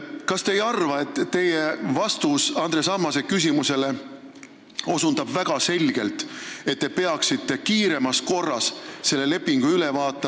Kas te ei arva, et teie vastus Andres Ammase küsimusele näitab väga selgelt, et te peaksite kiiremas korras selle lepingu üle vaatama ...